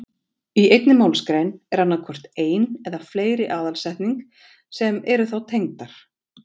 Í einni málsgrein er annað hvort ein eða fleiri aðalsetning sem eru þá tengdar.